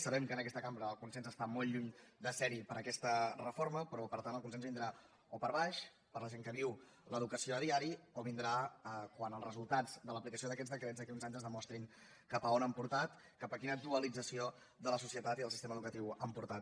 sabem que en aquesta cambra el consens està molt lluny de serhi per aquesta reforma però per tant el consens vindrà o per baix per la gent que viu l’educació cada dia o vindrà quan els resultats de l’aplicació d’aquests decrets d’aquí a uns anys ens demostrin cap a on han portat cap a quina dualització de la societat i del sistema educatiu han portat